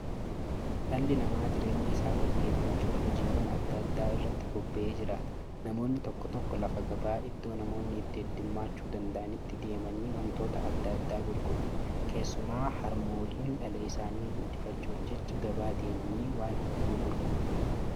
Dhalli namaa jireenya isaa gaggeeffachuuf hojiiwwan adda addaa irratti bobba'ee jiraata. Namoonni tokko tokko lafa gabaa iddoo namoonni itti hedduummachuu danda'anitti deemanii wantoota adda addaa gurguru. Keessumaa harmooliin dhala isaanii guudifachuuf jecha gabaa deemanii waan hedduu gurguru.